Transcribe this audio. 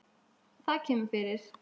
Það kemur fyrir.